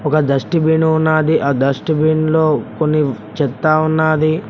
ఒక dust bin ఉన్నది ఆ డస్ట్ బిన్ లో కొన్ని చెత్త ఉన్నది.